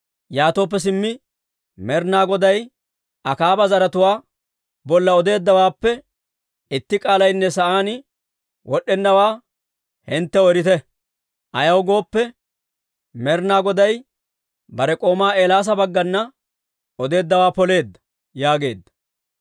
Yaatooppe simmi Med'ina Goday Akaaba zaratuwaa bolla odeeddawaappe itti k'aalaynne sa'aan wod'd'ennawaa hinttew erite. Ayaw gooppe, Med'ina Goday bare k'oomaa Eelaasa baggana odeeddawaa poleedda» yaageedda.